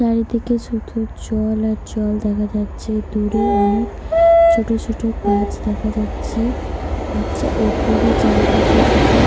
চারিদিকে শুধু জল আর জল দেখা যাচ্ছে। দূরে অনেক ছোট ছোট গাছ দেখা যাচ্ছে। আর চা ওপরে চারিদিকে শুধু ।